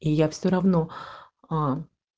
и я все равно аа